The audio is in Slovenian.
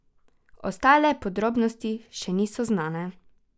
Ostale podrobnosti še niso znane.